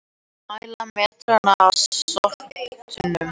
Mæla metrana að sorptunnunum